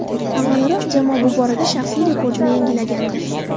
Avvalroq jamoa bu borada shaxsiy rekordini yangilagandi .